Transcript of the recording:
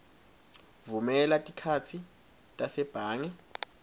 vumela tikhatsi tasebhange